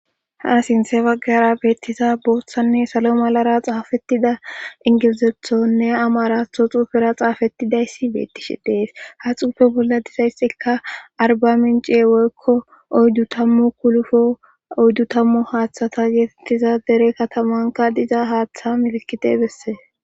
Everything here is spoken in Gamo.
Ha sintse baggara beettisa booththanne salo malara xaafettida ingilizethonne ama ratho xuufera xaafettidayssi beettishi dees ha xuufe bolla dizaysxikka arba minciye woykko oyddu tammu kulufo oyddu tammu haaththata geetettiza dere katamanka diza haaththa milkite besse.